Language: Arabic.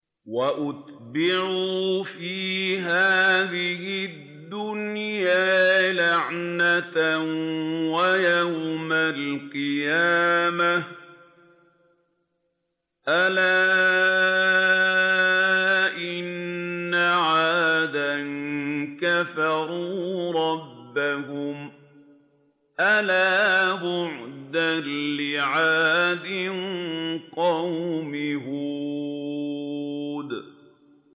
وَأُتْبِعُوا فِي هَٰذِهِ الدُّنْيَا لَعْنَةً وَيَوْمَ الْقِيَامَةِ ۗ أَلَا إِنَّ عَادًا كَفَرُوا رَبَّهُمْ ۗ أَلَا بُعْدًا لِّعَادٍ قَوْمِ هُودٍ